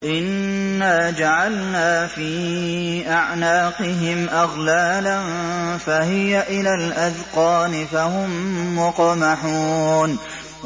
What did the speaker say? إِنَّا جَعَلْنَا فِي أَعْنَاقِهِمْ أَغْلَالًا فَهِيَ إِلَى الْأَذْقَانِ فَهُم مُّقْمَحُونَ